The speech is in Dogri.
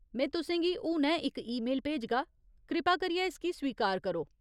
में तुसें गी हुनै इक ईमेल भेजगा। कृपा करियै इसगी स्वीकार करो ।